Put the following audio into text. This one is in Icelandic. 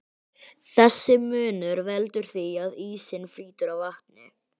Þessi munur veldur því að ísinn flýtur á vatni.